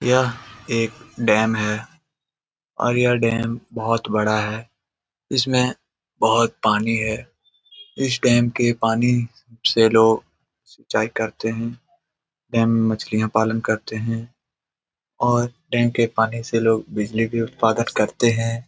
यह एक डैम है और यह डैम बहुत बड़ा है इसमें बहुत पानी है इस डैम के पानी से लोग सिंचाई करते हैं डैम में मछली पालन करते हैं और डैम के पानी से लोग बिजली भी उत्पादक करते हैं।